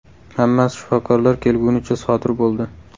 Hammasi shifokorlar kelgunicha sodir bo‘ldi.